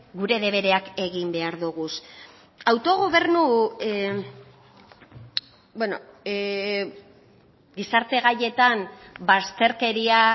gure debereak egin behar doguz autogobernu beno gizarte gaietan bazterkeria